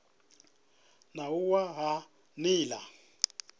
na u wa ha nila